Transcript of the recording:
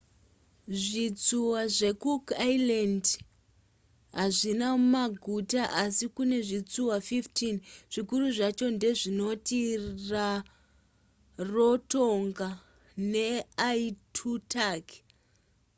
zvitsuwa zvecook islands hazvina maguta asi kune zvitsuwa 15 zvikuru zvacho ndezvinoti rarotonga neaitutaki